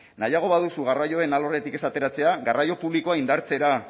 nahiago baduzu garraioen alorretik ez ateratzea garraio publikoa indartzera